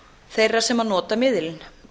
þeirra sem nota miðilinn